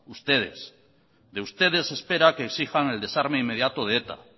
ustedes de ustedes se espera que exijan el desarme inmediato de eta